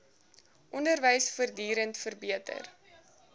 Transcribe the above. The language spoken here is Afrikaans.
onderwys voortdurend verbeter